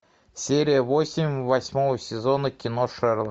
серия восемь восьмого сезона кино шерлок